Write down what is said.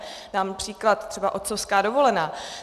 Dám příklad, třeba otcovská dovolená.